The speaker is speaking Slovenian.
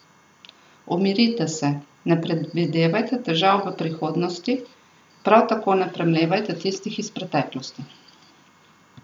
Umirite se, ne predvidevajte težav v prihodnosti, prav tako ne premlevajte tistih iz preteklosti.